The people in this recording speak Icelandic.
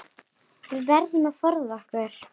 Við verðum að forða okkur.